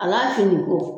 A b'a fin ko